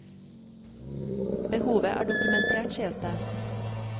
Behovet er dokumentert, sies det.